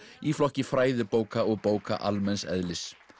í flokki fræðibóka og bóka almenns eðlis